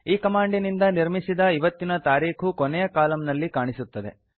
ಈ ಕಮಾಂಡಿನಿಂದ ನಿರ್ಮಿಸಿದ ಇವತ್ತಿನ ತಾರೀಖು ಕೊನೆಯ ಕಾಲಂನಲ್ಲಿ ಕಾಣಿಸುತ್ತಿದೆ